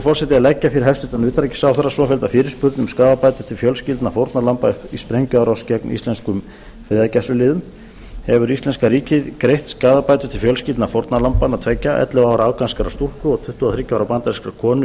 forseti að leggja fyrir hæstvirtan utanríkisráðherra svofellda fyrirspurn um skaðabætur til fjölskyldna fórnarlamba í sprengjuárás gegn íslenskum friðargæsluliðum hefur íslenska ríkið greitt skaðabætur til fjölskyldna fórnarlambanna tveggja ellefu ára afganskrar stúlku og tuttugu og þriggja ára bandarískrar konu í